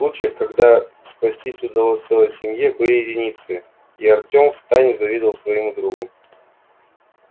случаев когда спастись удалось целой семье были единицы и артем втайне завидовал своему другу